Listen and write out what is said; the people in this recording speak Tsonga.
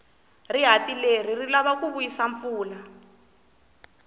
rihati leri ri lava ku vuyisa mpfula